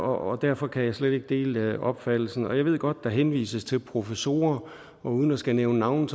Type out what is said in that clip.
og derfor kan jeg slet ikke dele opfattelsen jeg ved godt at der henvises til professorer og uden at skulle nævne navne